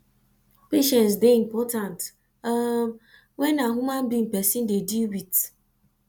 patience dey important um when na human being person dey deal with